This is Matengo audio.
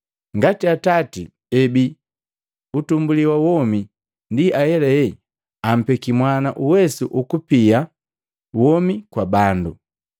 Ngati Atati ebi utumbuli wa womi, ndi ahelahela ampeki Mwana uwesu ukupia womi kwa bandu.